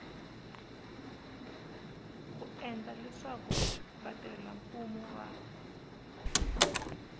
ku endla leswaku vatirhelamfumo va